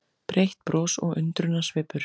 Breitt bros og undrunarsvipur.